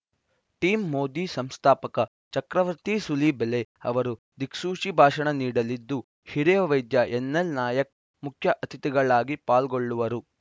team Modi ಸಂಸ್ಥಾಪಕ ಚಕ್ರವರ್ತಿ ಸೂಲಿಬೆಲೆ ಅವರು ದಿಕ್ಸೂಚಿ ಭಾಷಣ ನೀಡಲಿದ್ದು ಹಿರಿಯ ವೈದ್ಯ ಎನ್‌ಎಲ್‌ ನಾಯಕ್‌ ಮುಖ್ಯ ಅತಿಥಿಗಳಾಗಿ ಪಾಲ್ಗೊಳ್ಳುವರು